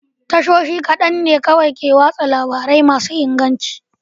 Tashoshi kaɗan ne kawai ke watsa labarai masu inganci.